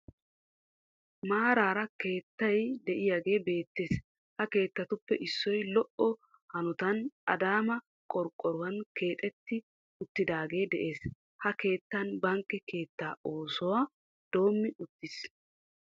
Maaraara keettay de'iyagee beettees. Ha keettatuppe issoy lo"o hanotan Adaama qorqqoruwan keexetti uttidaagee de'ees ha keettan bank keettaa oosuwa doommi uttiis